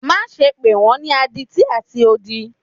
Maṣe pe wọn ni aditi ati odi!